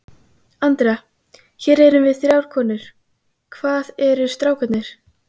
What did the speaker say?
Andrea, hér erum við þrjár konur, hvað eru strákarnir?